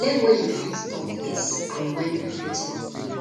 learn when you fit talk yes and when you fit talk no